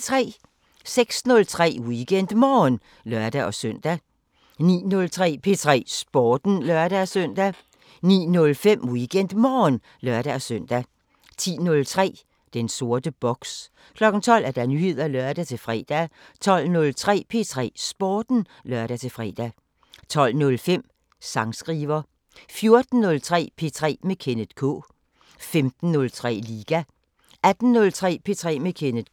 06:03: WeekendMorgen (lør-søn) 09:03: P3 Sporten (lør-søn) 09:05: WeekendMorgen (lør-søn) 10:03: Den sorte boks 12:00: Nyheder (lør-fre) 12:03: P3 Sporten (lør-fre) 12:05: Sangskriver 14:03: P3 med Kenneth K 15:03: Liga 18:03: P3 med Kenneth K